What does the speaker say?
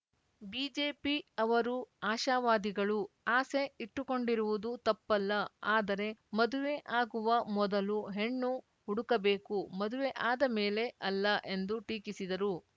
BJP ಅವರು ಆಶಾವಾದಿಗಳು ಆಸೆ ಇಟ್ಟುಕೊಂಡಿರುವುದು ತಪ್ಪಲ್ಲ ಆದರೆ ಮದುವೆ ಆಗುವ ಮೊದಲು ಹೆಣ್ಣು ಹುಡುಕಬೇಕು ಮದುವೆ ಆದ ಮೇಲೆ ಅಲ್ಲ ಎಂದು ಟೀಕಿಸಿದರು